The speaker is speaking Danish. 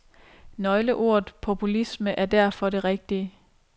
Nøgleordet populisme er derfor det rigtige.